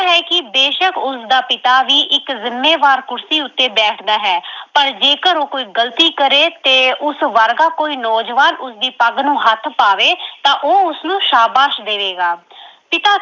ਹੈ ਕਿ ਬੇਸ਼ੱਕ ਉਸਦਾ ਪਿਤਾ ਵੀ ਇੱਕ ਜਿੰਮੇਵਾਰ ਕੁਰਸੀ ਉੱਤੇ ਬੈਠਦਾ ਹੈ ਪਰ ਜੇਕਰ ਉਹ ਕੋਈ ਗਲਤੀ ਕਰੇ ਤੇ ਉਸ ਵਰਗਾ ਕੋਈ ਨੌਜਵਾਨ ਉਸਦੀ ਪੱਗ ਨੂੰ ਹੱਥ ਪਾਵੇ ਤਾਂ ਉਹ ਉਸਨੂੰ ਸ਼ਾਬਾਸ਼ ਦੇਵੇਗਾ। ਪਿਤਾ